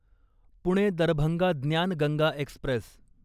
Pune Darbhanga Gyan Ganga Express